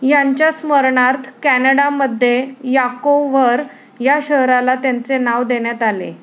यांच्या स्मरणार्थ कॅनडामध्ये यांकोव्हर या शहराला त्यांचे नाव देण्यात आले